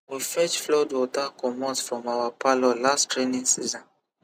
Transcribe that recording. we fetch flood water comot from our parlour last rainy season